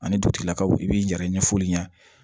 Ani dugutigilakaw i b'i yɛrɛ ɲɛfo ɲɛna